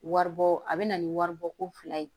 Waribɔ a bɛ na ni waribɔ ko fila ye